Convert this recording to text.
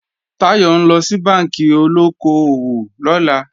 Táyọ̀ ńlọ sí bánkì olóko-òwò lọ́la